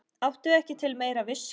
Áttu ekki til meira viskí?